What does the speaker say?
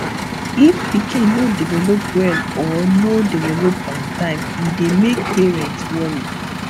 if pikin no develop well or no develop on time e dey make parent worry